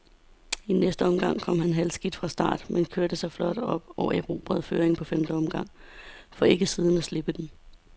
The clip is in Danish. I næste omgang kom han halvskidt fra start, men kørte sig flot op og erobrede føringen på femte omgang, for ikke siden at slippe den.